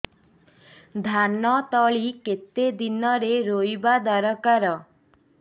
ଧାନ ତଳି କେତେ ଦିନରେ ରୋଈବା ଦରକାର